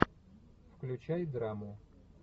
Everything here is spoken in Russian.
включай драму